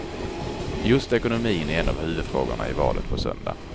Just ekonomin är en av huvudfrågorna i valet på söndag.